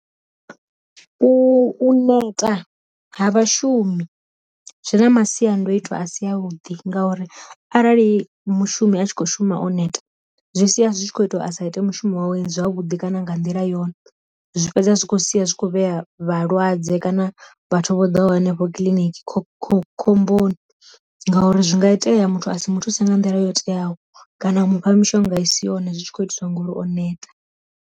U neta ha vha shumi, zwi na masiandoitwa a si a vhuḓi ngauri arali mushumi a tshi kho shuma o neta zwi sia zwi tshi kho ita a sa ite mushumo wawe zwavhuḓi kana nga nḓila yone, zwi fhedza zwi kho sia zwitshi kho vhea vhalwadze kana vhathu vho ḓaho henefho kiḽiniki kho kho khomboni, ngauri zwi nga itea muthu asi muthuse nga nḓila yo teaho kana a mufha mishonga i si yone zwi tshi kho itiswa ngori o neta.